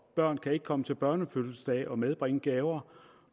børn kan ikke komme til børnefødselsdage og medbringe gaver